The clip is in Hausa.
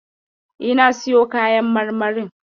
E, na siyo kayan marmarin.